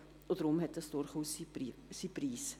Deshalb hat dies durchaus seinen Preis.